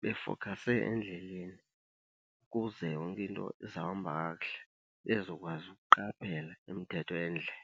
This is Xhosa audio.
befokhase endleleni ukuze yonke into izawuhamba kakuhle, bezokwazi ukuqaphela imithetho yendlela.